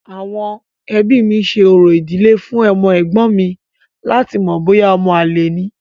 Àwọn ẹbí mi ṣe orò ìdílé fún ọmọ ẹ̀gbọ́n mi láti mọ̀ bóyá ọmọ àlè ni.